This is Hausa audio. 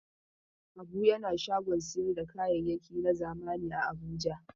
Habu yana shagon sayar da kayayyaki na zamani a Abuja.